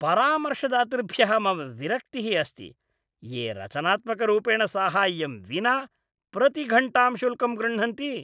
परामर्शदातृभ्यः मम विरक्तिः अस्ति ये रचनात्मकरूपेण साहाय्यं विना प्रतिघण्टां शुल्कं गृह्णन्ति।